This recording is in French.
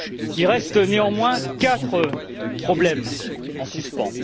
Il reste néanmoins quatre problèmes en suspens.